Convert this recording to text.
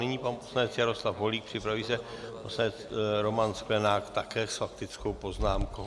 Nyní pan poslanec Jaroslav Holík, připraví se poslanec Roman Sklenák, také s faktickou poznámkou.